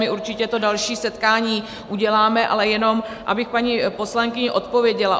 My určitě to další setkání uděláme, ale jenom abych paní poslankyni odpověděla.